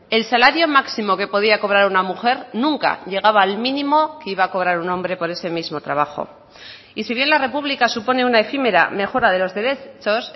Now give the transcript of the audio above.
el salario máximo que podía cobrar una mujer nunca llegaba al mínimo que iba a cobrar un hombre por ese mismo trabajo y si bien la república supone una efímera mejora de los derechos